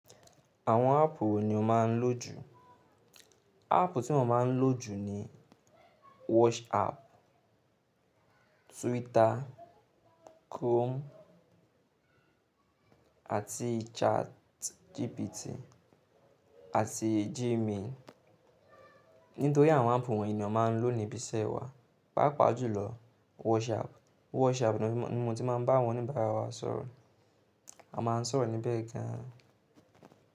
Àwọn áàpù wo ni o máa ń lò jù? Áàpù tí mo máa ń lò jù ni WhatsApp, Twitter, Chrome àti ChatGPT àti Gmail. Nítorí àwọn áàpù wọ̀nyí ni a máa ń lò ní ibi iṣẹ́ wa. Paápa jùlọ WhatsApp. WhatsApp ni mo ti máa ń bá àwọn òníbàárà wa sọ̀rọ̀. A máa ń sọ̀rọ̀ níbẹ̀ gan-an.